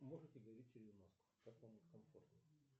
можете говорить через маску как вам комфортнее